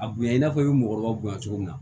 A bonya i n'a fɔ i ye mɔgɔkɔrɔba bonya cogo min na